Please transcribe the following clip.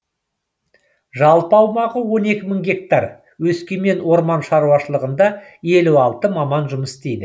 жалпы аумағы он екі мың гектар өскемен орман шаруашылығында елу алты маман жұмыс істейді